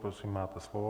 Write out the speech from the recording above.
Prosím, máte slovo.